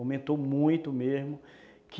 Aumentou muito mesmo.